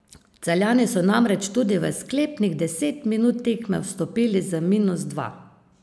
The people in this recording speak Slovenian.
Celjani so namreč tudi v sklepnih deset minut tekme vstopili z minus dva.